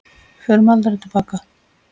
Við förum aldrei til baka.